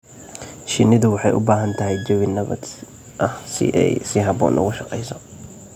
Shinnidu waxay u baahan tahay jawi nabad ah si ay si habboon ugu shaqeyso.